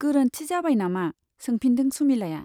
गोरोन्थि जाबाय नामा ? सोंफिनदों सुमिलाया।